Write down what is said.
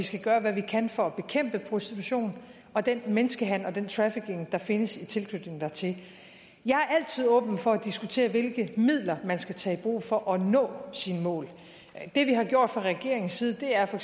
skal gøre hvad vi kan for at bekæmpe prostitution og den menneskehandel og den trafficking der findes i tilknytning dertil jeg er altid åben for at diskutere hvilke midler man skal tage i brug for at nå sine mål det vi har gjort fra regeringens side er for